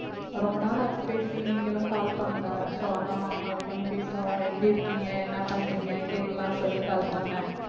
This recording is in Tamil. ரொம்ப நாளாச்சு பேசி நீங்களும் call பண்ணல so அதான் call பண்ணி பேசுவோம் எப்படி இருக்கீங்க என்ன பண்றீங்க கேட்கலாம் சொல்லி call பண்ணேன்